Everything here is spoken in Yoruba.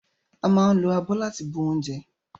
A ma ń lo abọ́ láti fi bu oúnjẹ